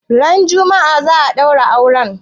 Ran juma'a za'a ɗaura auren?